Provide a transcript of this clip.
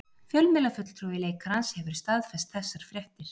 Fjölmiðlafulltrúi leikarans hefur staðfest þessar fréttir